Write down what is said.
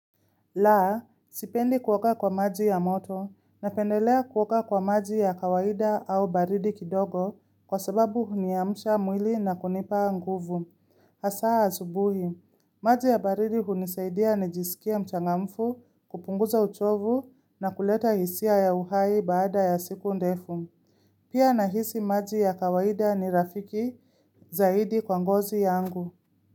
Laa, sipendi kuoga kwa maji ya moto na pendelea kuoga kwa maji ya kawaida au baridi kidogo kwa sababu huniamsha mwili na kunipa nguvu. Hasaa asubuhi, maji ya baridi hunisaidia na jisikia mchangamfu kupunguza uchovu na kuleta hisia ya uhai baada ya siku ndefu. Pia nahisi maji ya kawaida ni rafiki zaidi kwa ngozi yangu.